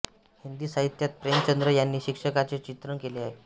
हिंदी साहित्यात प्रेमचंद यांनी शिक्षकांचे चित्रण केले आहे